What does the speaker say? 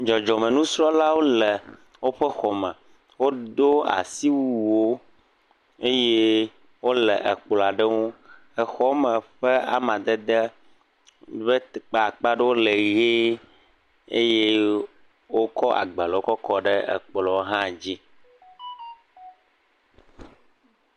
Dzɔdzɔ me nusrɔ lawo le o ƒe xɔme, o do asi wuwo eye o le ekplɔ̃a ɖe ŋu, exɔme ƒe amadede be kpakpa ɖewo le ɣee, eye o kɔ agbalēwo kɔ kɔ ɖe ekplɔ̃ hã dzi.